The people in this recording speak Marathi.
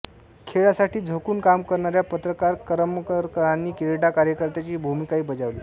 खेळासाठी झोकून काम करणाऱ्या पत्रकार करमरकरांनी क्रीडा कार्यकर्त्यांची भूमिकाही बजावली